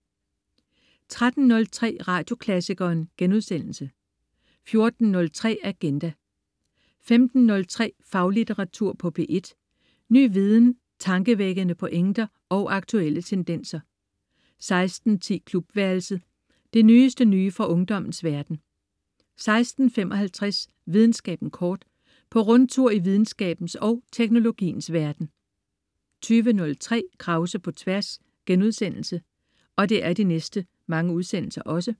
13.03 Radioklassikeren* 14.03 Agenda* 15.03 Faglitteratur på P1. Ny viden, tankevækkende pointer og aktuelle tendenser 16.10 Klubværelset. Det nyeste nye fra ungdommens verden 16.55 Videnskaben kort. På rundtur i videnskabens og teknologiens verden 20.03 Krause på Tværs*